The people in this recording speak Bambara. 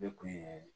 Ne kun ye